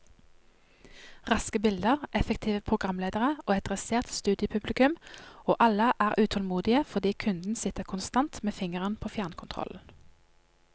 Raske bilder, effektive programledere og et dressert studiopublikum, og alle er utålmodige fordi kunden sitter konstant med fingeren på fjernkontrollen.